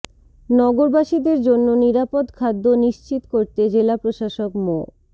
নগরবাসীর জন্য নিরাপদ খাদ্য নিশ্চিত করতে জেলা প্রশাসক মো